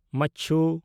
ᱢᱟᱪᱪᱩ